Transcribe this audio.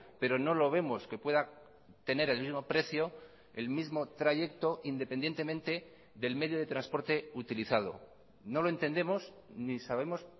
pero no lo vemos que pueda tener el mismo precio el mismo trayecto independientemente del medio de transporte utilizado no lo entendemos ni sabemos